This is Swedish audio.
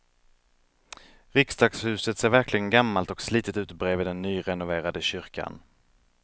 Riksdagshuset ser verkligen gammalt och slitet ut bredvid den nyrenoverade kyrkan.